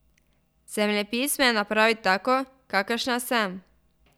Zemljepis me je napravil tako, kakršna sem.